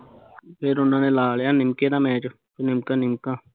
ਫਿਰ ਉਹਨਾਂ ਨੇ ਲਾ ਲਿਆ ਨਿਮਕੇ ਦਾ match ਨਿਮਕਾ ਨਿਮਕਾ